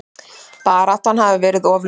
Baráttan hafi verið of löng.